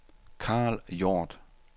Karl Hjort